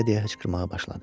deyə-deyə hıçqırmağa başladı.